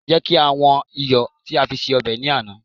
jẹ ká wan iyọ ti a fe fi se obe ni Ana